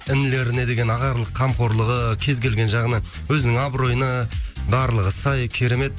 інілеріне деген ағалық қамқорлығы кез келген жағына өзінің абыройына барлығы сай керемет